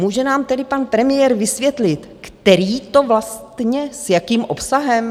Může nám tedy pan premiér vysvětlit, který to vlastně, s jakým obsahem?